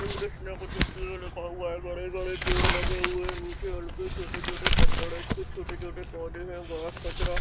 English में लिखा हुआ है बड़े-बड़े पेड़ लगा हुआ है। नीचे छोटे-छोटे पत्थर है। उस पे छोटे -छोटे पौधे है। बोहोत कचरा --